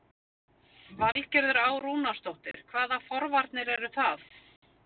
Valgerður Á. Rúnarsdóttir: Hvaða forvarnir eru það?